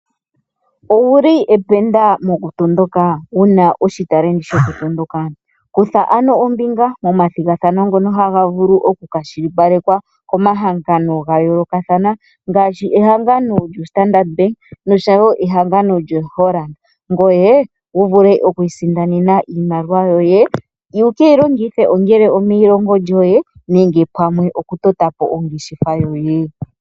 Owuli ependa moku tondoka wuna oshitalenti shoku tondoka? Kutha ano ombinga momathigathano ngono haga vulu oku kwashilipalekwa , komahangano gayolokathana ngaashi ehangano lyoStandard Bank noshowo ehangano lyoHollard, ngoye wu vule oku isindanena iimaliwa yoye wu keyi longithe , ongele omeyilongo lyoye nenge pamwe oku tota po ongeshefa yoye.